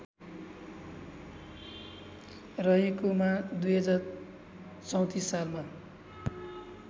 रहेकोमा २०३४ सालमा